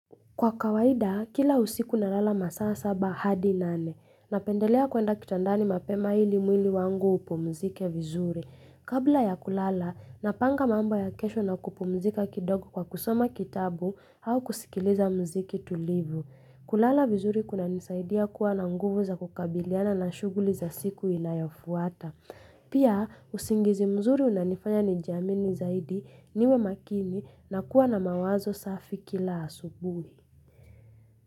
Kwa kawaida, kila usiku na lala masaa saba hadi nane. Napendelea kuenda kitandani mapema ili mwili wangu upumzike vizuri. Kabla ya kulala, napanga mambo ya kesho na kupumzika kidogo kwa kusoma kitabu au kusikiliza mziyki tulivu. Kulala vizuri kunanisaidia kuwa na nguvu za kukabiliana na shughuli za siku inayofuata. Pia, usingizi mzuri unanifanya nijiamini zaidi niwe makini na kuwa na mawazo safi kila asubuhi.